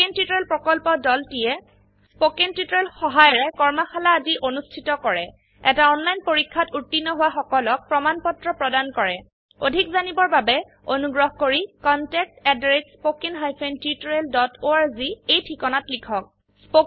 spoken tutorial প্ৰকল্পৰদলটিয়ে spoken tutorial সহায়িকাৰে কৰ্মশালা আদি অনুষ্ঠিত কৰে এটা অনলাইন পৰীক্ষাত উত্তীৰ্ণ হোৱা সকলক প্ৰমাণ পত্ৰ প্ৰদান কৰে অধিক জানিবৰ বাবে অনুগ্ৰহ কৰি contactspoken tutorialorg এই ঠিকনাত লিখক